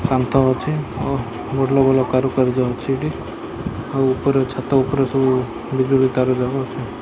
କାନ୍ଥ ଅଛି ଓ ଭଲ ଭଲ କାରୁକାର୍ଯ୍ୟ ଅଛି ଏଇଠି ଆଉ ଉପରେ ଛାତ ଉପରେ ସବୁ ବିଜୁଳି ତାର ଯାକ ଅଛି।